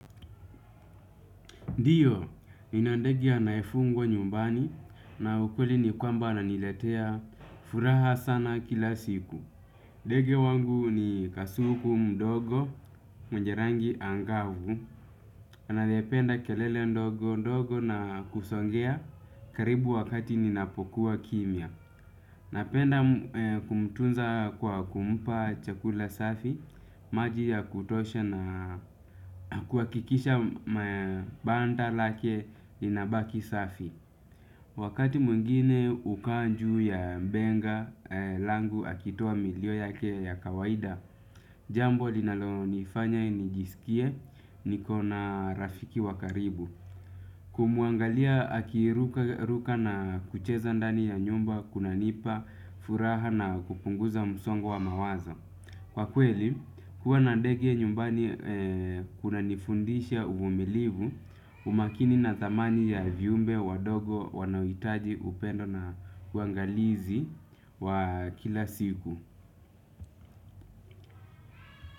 Ndiyo, nina ndege anaefungwa nyumbani na ukweli ni kwamba ananiletea furaha sana kila siku. Ndege wangu ni kasuku mdogo, mwenye rangi angavu. Anaependa kelele ndogo ndogo na kusongea karibu wakati ninapokuwa kimia. Napenda kumutunza kwa kumpa chakula safi, maji ya kutosha na kuhakikisha banda lake linabaki safi. Wakati mwngine ukaa njuu ya mbenga, langu akitoa milio yake ya kawaida, jambo linalo nifanya nijisikie, niko na rafiki wa karibu. Kumuangalia akirukaruka na kucheza ndani ya nyumba kuna nipa, furaha na kupunguza msongo wa mawazo. Kwa kweli, kuwa na ndege nyumbani kuna nifundisha uvumilivu umakini na thamani ya viumbe wadogo wanaoitaji upendo na uangalizi wa kila siku.